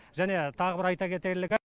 және тағы бір айта кетерлігі